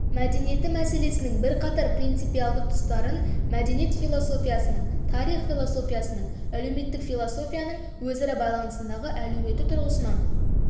мәдениеті мәселесінің бірқатар принципиалды тұстарын мәдениет философиясының тарих философиясының әлеуметтік философияның өзара байланысындағы әлеуеті тұрғысынан